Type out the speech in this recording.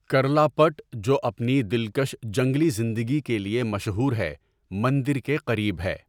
کرلاپٹ، جو اپنی دلکش جنگلی زندگی کے لیے مشہور ہے، مندر کے قریب ہے۔